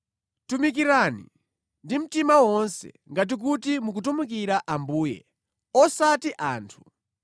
Tumikirani ndi mtima wonse, ngati kuti mukutumikira Ambuye, osati anthu.